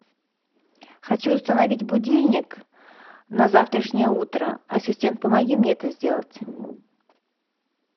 хочу установить будильник на завтрашнее утро ассистент помоги мне это сделать